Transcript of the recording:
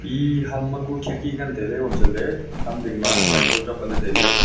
ee ham ma ku khidki ngan taley iboma chatley ham ding ma light bulb chu apatley tailey.